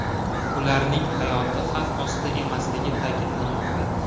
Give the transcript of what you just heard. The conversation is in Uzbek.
Ularning hayoti xavf ostida emasligi ta’kidlanmoqda.